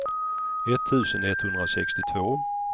etttusen etthundrasextiotvå